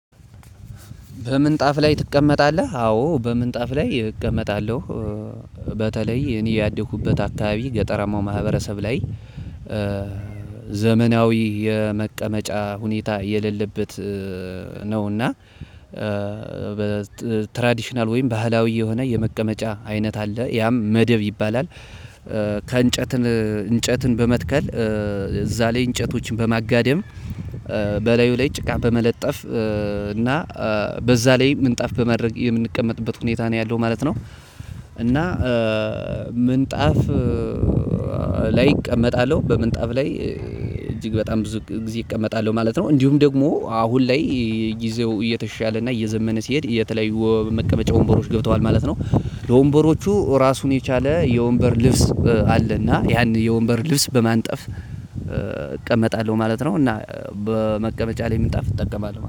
በምንጣፍ ላይ ትቀመጣለህ? አዎ በምንጣፍ ላይ እቀመጣለሁ በተለይ እኔ ያደኩበት አካባቢ ገጠራማው ማህበረሰብ ላይ ዘመናዊ የመቀመጫ ሁኔታ የሌለበት ነውና በትራዲሽናል ወይም ባህላዊ የሆነ የመቀመጫ አይነት አለ፤ ያም መደብ ይባላል ከእንጨትን እንጨትን በመትከል እዛ ላይ እንጨቶችን በማጋደም በላዩ ላይ ጭቃ በመለጠፍ እና በዛ ላይ ምንጣፍ በማድረግ የምንቀመጥበት ሁኔታ ነው ያለው ማለት ነው። እና ምንጣፍ ላይ እቀመጣለሁ በምንጣፍ ላይ እጅግ በጣም ብዙ ጊዜ እቀመጣለሁ ማለት ነው፤ እንዲሁም ደግሞ አሁን ላይ ጊዜው እየተሻለ እና እየዘመነ ሲሄድ የተለያዩ መቀመጫዎች ወንበሮች ገብተዋል ማለት ነው። ለወንበሮቹ ራሱን የቻለ የወንበር ልብስ አለና ያን የወንበር ልብስ በማንጠፍ እቀመጣለሁ ማለት ነው፤ እና በመቀመጫ ላይ ምንጣፍ እጠቀማለሁ።